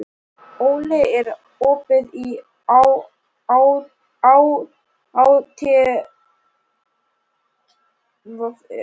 Óli, er opið í ÁTVR?